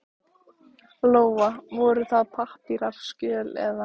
Lóa: Voru það pappírar, skjöl eða?